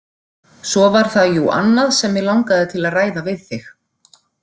Svo var það jú annað sem mig langaði til að ræða við þig